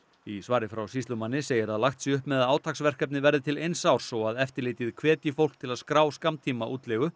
í svari frá sýslumanni segir að lagt sé upp með að átaksverkefnið verði til eins árs og að eftirlitið hvetji fólk til að skrá